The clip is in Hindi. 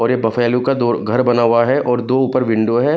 और यह बफैलो का दो घर बना हुआ है और दो ऊपर विंडो हैं।